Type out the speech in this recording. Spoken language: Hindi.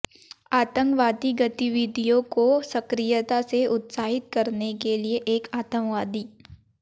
आतंकवादी गतिविधियों को सक्रियता से उत्साहित करने के लिए एक आतंकवादी